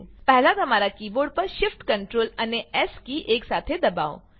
પહેલા તમારા કીબોર્ડ પર shift ctrl અને એસ કી એકસાથે દબાવો